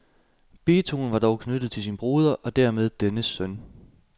Beethoven var dog knyttet til sin broder og dermed dennes søn.